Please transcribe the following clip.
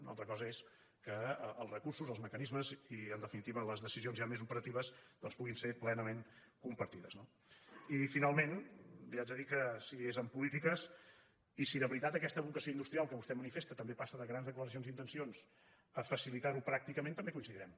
una altra cosa és que els recursos els mecanismes i en definitiva les decisions ja més operatives doncs puguin ser plenament compartides no i finalment li haig de dir que si és en polítiques i si de veritat aquesta vocació industrial que vostè manifesta també passa de grans declaracions d’intencions a facilitar ho pràcticament també hi coincidirem